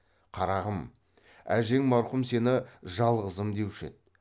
қарағым әжең марқұм сені жалғызым деуші еді